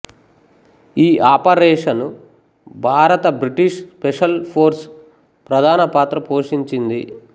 ఈ ఆపరేషను భారత British special force ప్రధాన పాత్ర పోషించింది